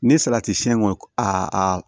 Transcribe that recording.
Ni salati siyɛn kɔni a